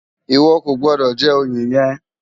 Iwò kó gbòdò jè óyé yèn